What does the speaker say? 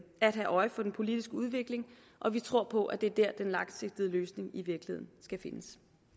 at have øje for den politiske udvikling og vi tror på at det er der den langsigtede løsning i virkeligheden skal findes